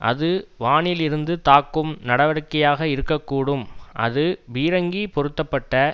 அது வானிலிருந்து தாக்கும் நடவடிக்கையாக இருக்க கூடும் அது பீரங்கி பொருத்த பட்ட